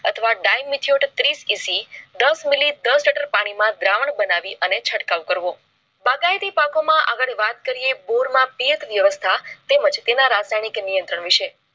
અથવા dymatured tris EC દસ milli દસ લિટર પાણી માં ધ્રવાં બનાવી અને ચટકાવ કરવો ભાગયતી પાકોમાં આગળ વાત કરીએ બોરના પેઠ વ્યવસ્થા તેમજ એના રાસાયણિક નિયંત્રણ વિષય